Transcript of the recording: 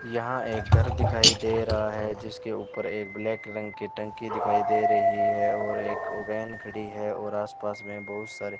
यहां एक घर दिखाई दे रहा है जिसके ऊपर एक ब्लैक रंग की टंकी दिखाई दे रही है और एक वैन खड़ी है और आसपास में बहुत सारे --